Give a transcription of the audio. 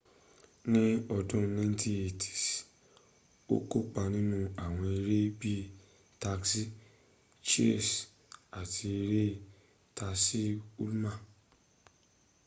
ni odun 1980s o kópa ninu awon ere bii taxi cheers ati ere traci ulman